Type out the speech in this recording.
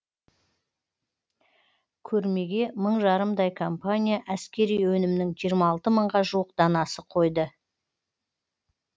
көрмеге мың жарымдай компания әскери өнімнің жиырма алты мыңға жуық данасы қойды